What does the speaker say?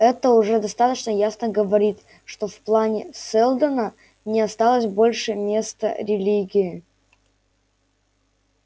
это уже достаточно ясно говорит что в плане сэлдона не осталось больше места религии